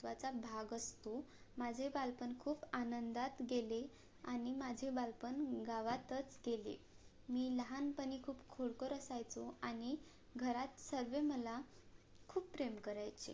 महत्वाचा भाग असतो माझे बालपण खूप आनंदात गेले आणि माझे बालपण गावातच गेले मी लहानपणी खूप खोडकर असायचो आणि घरात सगळे मला खूप प्रेम करायचे